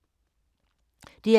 DR2